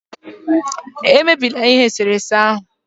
emebila eserese ahụ